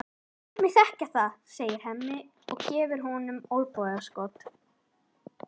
Láttu mig þekkja það, segir Hemmi og gefur honum olnbogaskot.